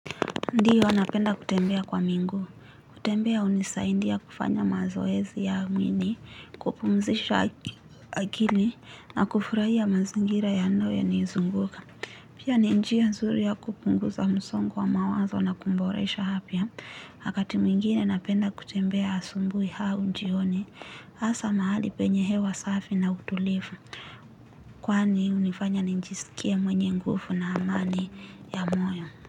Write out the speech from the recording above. Ndiyo, napenda kutembea kwa miguu. Kutembea hunisaidia kufanya mazoezi ya mwili, kupumzisha akili, na kufurahia mazingira yanayonizunguka. Pia ni njia nzuri ya kupunguza msongo wa mawazo na kuboresha afya. Wakati mwingine napenda kutembea asubuhi au jioni, hasa mahali penye hewa safi na utulivu. Kwani, hunifanya nijisikie mwenye nguvu na amani ya moyo.